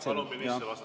Palun ministril vastata.